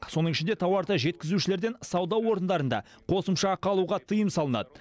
соның ішінде тауарды жеткізушілерден сауда орындарында қосымша ақы алуға тыйым салынады